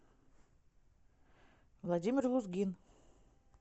владимир лузгин